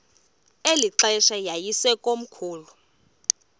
eli xesha yayisekomkhulu